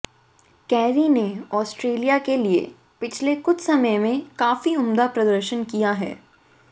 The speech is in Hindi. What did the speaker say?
कैरी ने ऑस्ट्रेलिया के लिए पिछले कुछ समय में काफी उम्दा प्रदर्शन किया है